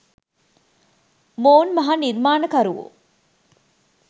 මොවුන් මහා නිර්මාණකරුවෝ